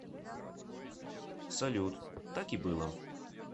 салют так и было